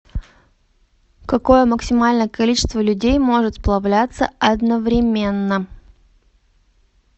какое максимальное количество людей может сплавляться одновременно